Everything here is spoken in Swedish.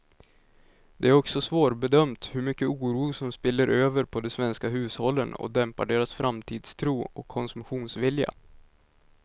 Det är också svårbedömt hur mycket oro som spiller över på de svenska hushållen och dämpar deras framtidstro och konsumtionsvilja.